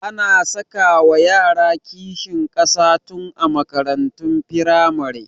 Ana sakawa yara kishin ƙasa tun a makarantun firamare